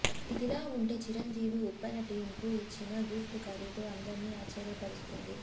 ఇదిలా ఉంటే చిరంజీవి ఉప్పెన టీమ్ కు ఇచ్చిన గిఫ్ట్ ఖరీదు అందర్నీ ఆశ్చర్యపరుస్తుంది